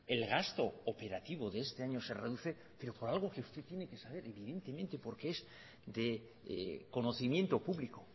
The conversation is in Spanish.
el gasto operativo de este año se reduce pero por algo que usted tiene que saber evidentemente porque es de conocimiento público